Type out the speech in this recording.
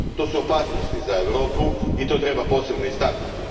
To su opasnosti za Europu i to treba posebno istaknuti.